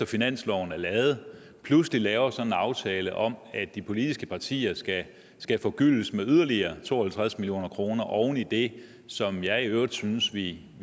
finansloven er lavet så pludselig laver sådan en aftale om at de politiske partier skal skal forgyldes med yderligere to og halvtreds million kroner oven i det som jeg i øvrigt synes vi